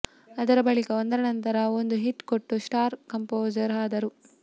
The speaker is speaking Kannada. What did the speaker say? ಅದರ ಬಳಿಕ ಒಂದರ ನಂತರ ಒಂದು ಹಿಟ್ ಕೊಟ್ಟು ಸ್ಟಾರ್ ಕಂಪೋಸರ್ ಆದರು